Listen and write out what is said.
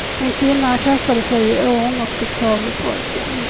En kvinna kastade sig i ån och fick tag i pojken.